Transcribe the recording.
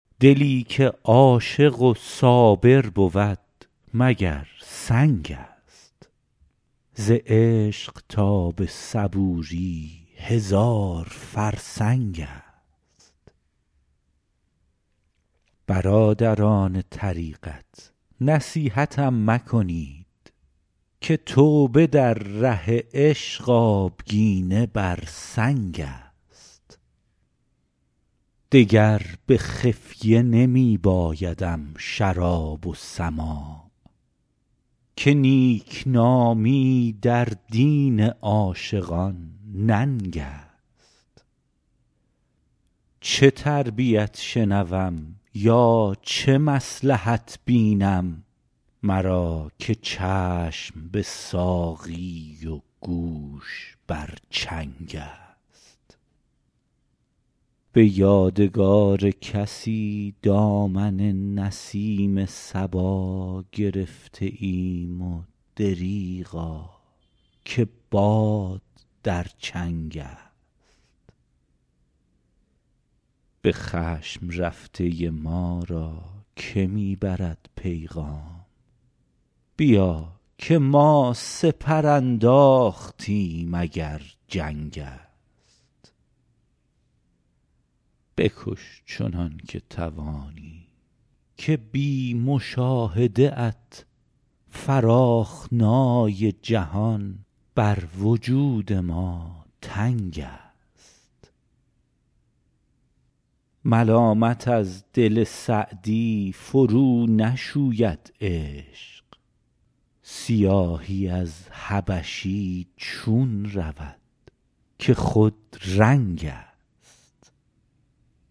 دلی که عاشق و صابر بود مگر سنگ است ز عشق تا به صبوری هزار فرسنگ است برادران طریقت نصیحتم مکنید که توبه در ره عشق آبگینه بر سنگ است دگر به خفیه نمی بایدم شراب و سماع که نیکنامی در دین عاشقان ننگ است چه تربیت شنوم یا چه مصلحت بینم مرا که چشم به ساقی و گوش بر چنگ است به یادگار کسی دامن نسیم صبا گرفته ایم و دریغا که باد در چنگ است به خشم رفته ما را که می برد پیغام بیا که ما سپر انداختیم اگر جنگ است بکش چنان که توانی که بی مشاهده ات فراخنای جهان بر وجود ما تنگ است ملامت از دل سعدی فرونشوید عشق سیاهی از حبشی چون رود که خودرنگ است